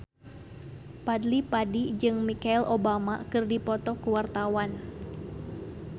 Fadly Padi jeung Michelle Obama keur dipoto ku wartawan